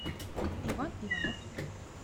иван иванов